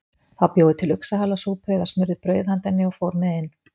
Þá bjó ég til uxahalasúpu eða smurði brauð handa henni og fór með inn.